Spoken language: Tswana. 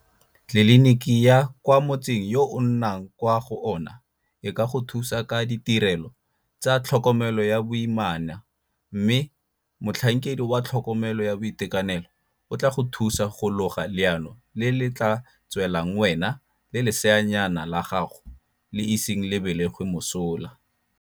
Tleliniki ya kwa motseng yo o nnang kwa go ona e ka go thusa ka ditirelo tsa tlhokomelo ya boimana mme motlhankedi wa tlhokomelo ya boitekanelo o tla go thusa go loga leano le le tla tswelang wena le leseanyana la gago le iseng le belegwe mosola.